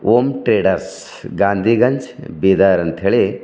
ಓಂ traders Gandhiganj Bidar ಅಂತ್ ಹೇಳಿ--